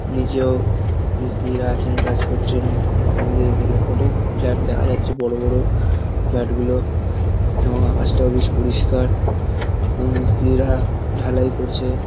নিচেও মিস্ত্রিরা আছেন কাজ করছেন। আমাদের এদিকে অনেক ফ্ল্যাট দেখা যাচ্ছে বড় বড় ফ্ল্যাট গুলো এবং আকাশটাও বেশ পরিষ্কার। অম মিস্ত্রিরা ঢালাই করছেন।